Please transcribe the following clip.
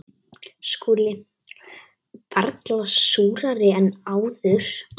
SKÚLI: Varla súrari en áður.